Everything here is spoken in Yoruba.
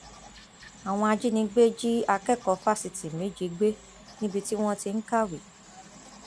àwọn ajínigbé jí akẹkọọ fásitì méje gbé níbi tí wọn ti ń kàwé